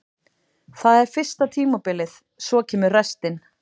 Það er fyrsta tímabilið, svo kemur restin.